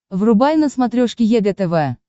врубай на смотрешке егэ тв